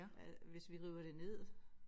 At hvis vi river det ned